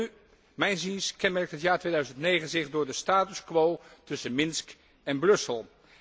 Welnu, mijns inziens kenmerkt het jaar 2009 zich door de status quo tussen Minsk en Brussel.